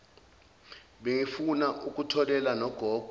bengifuna ukutholela nogogo